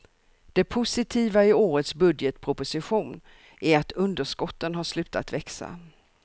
Det positiva i årets budgetproposition är att underskotten har slutat växa.